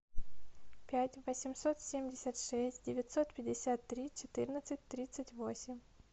пять восемьсот семьдесят шесть девятьсот пятьдесят три четырнадцать тридцать восемь